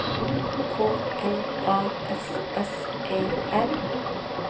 K L A S S E R